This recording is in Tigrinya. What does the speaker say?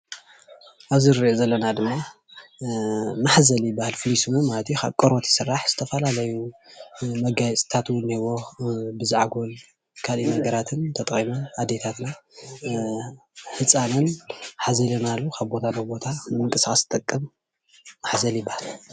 እዚ ንርእዮ ዘለና ድማ ማሕዘል ይባሃል ፍሉይ ስሙ ማለት እዩ ካብ ቆርበት ይስራሕ ዝተፈላለዩ መጋየፅታት እውን እኒሀዎ ብዛዕጎል ካሊእ ነገራትን ተጠቒመን ኣዴታትና ህፃነን ሓዚለናሉ ንምንቅስቓስ ዝጠቅም ማሕዘል ይባሃል።